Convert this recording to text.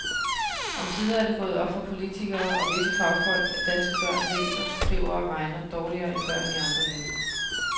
Omsider er det gået op for politikere og visse fagfolk, at danske børn læser, skriver og regner dårligere end børn i andre lande.